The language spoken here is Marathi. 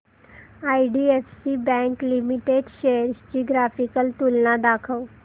आयडीएफसी बँक लिमिटेड शेअर्स ची ग्राफिकल तुलना दाखव